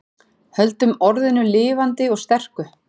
Höldum orðinu lifandi og sterku